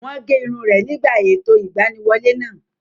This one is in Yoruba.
Wọ́n gé irun rẹ̀ nígbà ètò ìgbaniwọlé náà